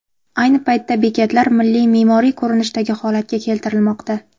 Ayni paytda bekatlar milliy me’moriy ko‘rinishdagi holatga keltirilmoqda.